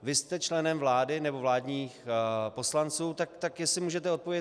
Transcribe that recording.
Vy jste členem vlády, nebo vládní poslanci, tak jestli můžete odpovědět.